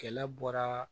Kɛlɛ bɔra